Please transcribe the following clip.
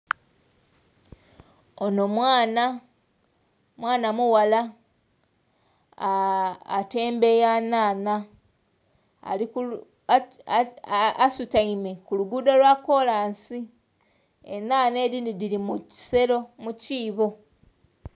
Ono mwaana, mwaana mughala atembeya nnhanha asutaime ku lugudho lwakolansi enhanha edhindhi dhiri mu kiseero, mu kiibo.